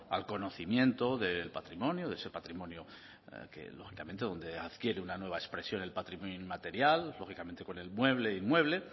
al conocimiento del patrimonio de ese patrimonio que lógicamente donde adquiere una nueva expresión el patrimonio inmaterial lógicamente con el mueble e inmueble